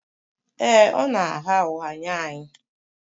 Ee, ọ na-agha ụgha nye anyị